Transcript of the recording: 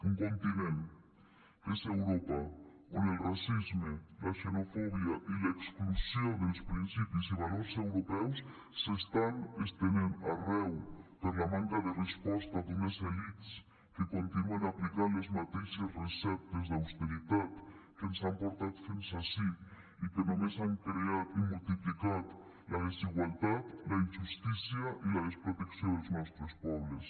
un continent que és europa on el racisme la xenofòbia i l’exclusió del principis i valors europeus s’estan estenent arreu per la manca de resposta d’unes elits que continuen aplicant les mateixes receptes d’austeritat que ens han portat fins ací i que només han creat i multiplicat la desigualtat la injustícia i la desprotecció dels nostres pobles